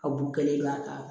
A bo kelen b'a